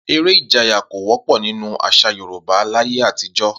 Eré ìjayà kò wó̩pò̩ nínú às̩à Yorùbá láyé àtijó̩